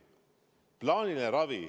Esiteks plaaniline ravi.